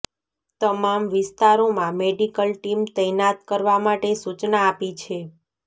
તમામ વિસ્તારોમાં medical team તૈનાત કરવા માટે સૂચના આપી છે